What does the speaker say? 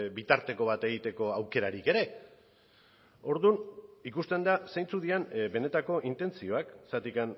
bitarteko bat egiteko aukerarik ere orduan ikusten da zeintzuk diren benetako intentzioak zergatik